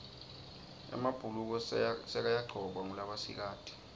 emabhuluko sekayagcokwa ngulabasikati